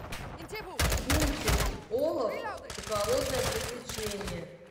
мультик олаф и холодное приключение